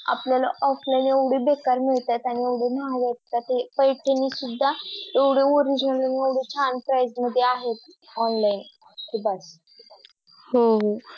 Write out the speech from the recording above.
आपल्ल्या Offline एवढे बेक्कार मिळतात आणि एवढे महाग असतात ते पैस्यानी सुद्धा आणि एवढे original आणि एवढे छाण Price मध्ये आहे online कि बस हो हो